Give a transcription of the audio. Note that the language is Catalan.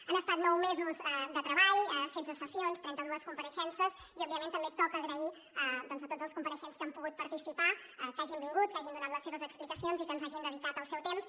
han estat nou mesos de treball setze sessions trenta dues compareixences i òbviament també toca agrair a tots els compareixents que han pogut participar que hagin vingut que hagin donat les seves explicacions i que ens hagin dedicat el seu temps